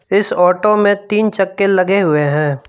इस ऑटो में तीन चक्के लगे हुए है।